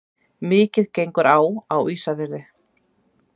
Mikið gengur á á Ísafirði.